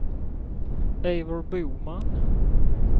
Eivor Boman